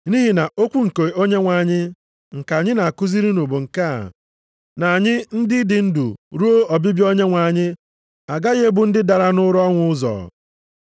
Nʼihi na okwu nke Onyenwe anyị nke anyị na-akụziri unu bụ nke a, na anyị ndị dị ndụ ruo ọbịbịa Onyenwe anyị agaghị ebu ndị dara nʼụra ọnwụ ụzọ.